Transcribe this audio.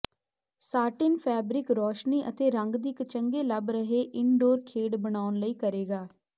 satin fabric ਰੌਸ਼ਨੀ ਅਤੇ ਰੰਗ ਦੀ ਇੱਕ ਚੰਗੇ ਲੱਭ ਰਹੇ ਇਨਡੋਰ ਖੇਡ ਬਣਾਉਣ ਲਈ ਕਰੇਗਾ